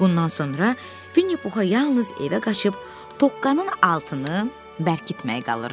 Bundan sonra Vinni Puxa yalnız evə qaçıb Toqqanın altını bərkitmək qalırdı.